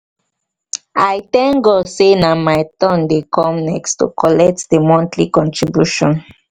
i thank god say nah my turn dey come next to collect the monthly contribution